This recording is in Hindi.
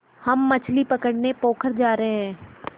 हम मछली पकड़ने पोखर जा रहें हैं